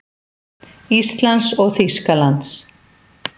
Íslands og Þýskalands.